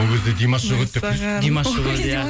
ол кезде димаш жоқ еді деп қойшы димаш жоқ еді иә